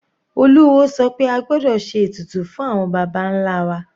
Olúwo sọ pé a gbọ́dọ̀ ṣe ètùtù fún àwọn baba nlá wa.